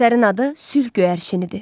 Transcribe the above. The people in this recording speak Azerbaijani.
Əsərin adı sülh göyərçinidir.